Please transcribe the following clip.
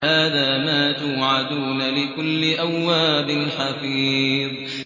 هَٰذَا مَا تُوعَدُونَ لِكُلِّ أَوَّابٍ حَفِيظٍ